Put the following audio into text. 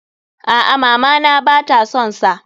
A'a, mama na ba ta son sa.